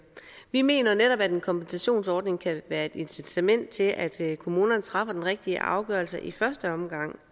vi mener netop at en kompensationsordning kan være et incitament til at kommunerne træffer den rigtige afgørelse i første omgang